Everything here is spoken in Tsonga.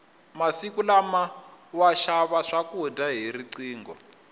masiku lama wa xava swakudya hi riqingho